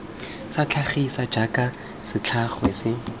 sa tlhagiso jaaka setlhangwa se